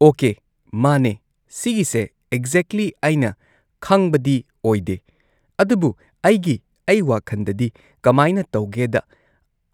okay ꯃꯥꯅꯦ ꯁꯤꯒꯤꯁꯦ exactly ꯑꯩꯅ ꯈꯪꯕꯗꯤ ꯑꯣꯏꯗꯦ ꯑꯗꯨꯕꯨ ꯑꯩꯒꯤ ꯑꯩ ꯋꯥꯈꯟꯗꯗꯤ ꯀꯃꯥꯏꯅ ꯇꯧꯒꯦꯗ